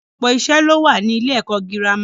Ọ̀pọ̀lọpọ̀ ìṣe ló wà ní ilé-ẹ̀kọ́ girama.